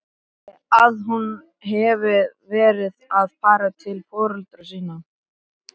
Að hún hefði verið að fara til foreldra sinna?